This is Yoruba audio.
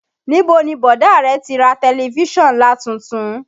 Níbo ni bọ̀dá rẹ ti ra tẹ̀lifísàn ńlá tuntun?